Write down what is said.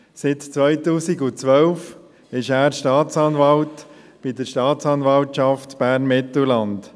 Seit 2012 ist er Staatsanwalt bei der Staatsanwaltschaft Bern-Mittelland.